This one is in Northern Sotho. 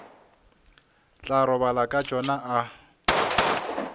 tla robala ka tšona a